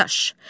Dadaş.